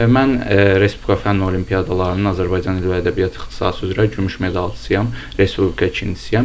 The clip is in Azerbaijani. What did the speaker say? Mən Respublika Fənn Olimpiadalarının Azərbaycan dili və ədəbiyyat ixtisası üzrə gümüş medalçısıyam, Respublika ikincisiyəm.